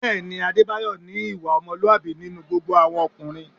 Bẹ́ẹ̀ ni, Adébáyọ̀ ní ìwà ọmọlúwàbí nínú gbogbo àwọn ọkùnrin